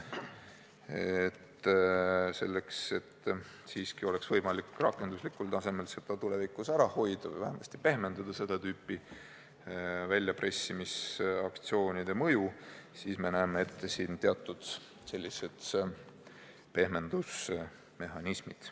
Aga selleks, et siiski oleks võimalik rakenduslikul tasemel seda tulevikus ära hoida või vähemasti pehmendada seda tüüpi väljapressimisaktsioonide mõju, me näeme eelnõus ette teatud pehmendusmehhanismid.